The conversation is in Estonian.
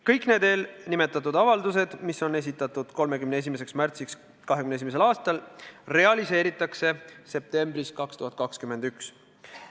Kõik need avaldused, mis on esitatud 31. märtsiks 2021. aastal, realiseeritakse septembris 2021.